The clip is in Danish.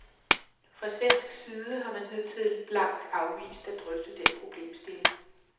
Fra svensk side har man hidtil blankt afvist at drøfte den problemstilling.